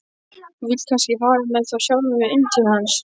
Þú vilt kannski fara með þá sjálfur inn til hans?